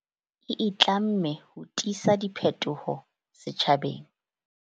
E itlamme ho tisa diphetoho setjhabeng.